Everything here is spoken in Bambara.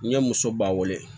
N ye muso ba weele